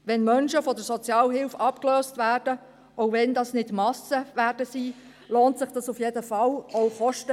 Wenn Menschen von der Sozialhilfe abgelöst werden, auch wenn das keine Massen sein werden, lohnt sich das auf jeden Fall auch bezüglich der Kosten.